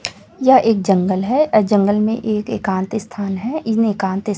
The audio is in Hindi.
यह एक जंगल है और जंगल में एक एकांत स्थान है इन्हं एकांत --